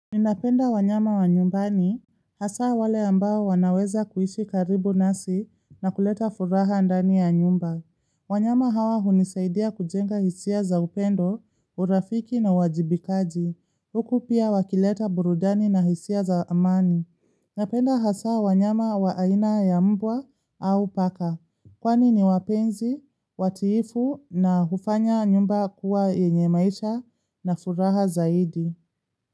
Ninapenda wanyama wa nyumbani, hasaa wale ambao wanaweza kuishi karibu nasi na kuleta furaha ndani ya nyumba. Wanyama hawa hunisaidia kujenga hisia za upendo, urafiki na wajibikaji. Huku pia wakileta burudani na hisia za amani. Napenda hasa wanyama waaina ya mbwa au paka. Kwani ni wapenzi, watiifu na hufanya nyumba kuwa yenye maisha na furaha zaidi.